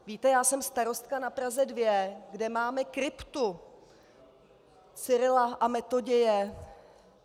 Víte, já jsem starostka na Praze 2, kde máme kryptu Cyrila a Metoděje.